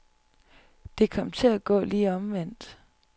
Det kom til at gå lige omvendt.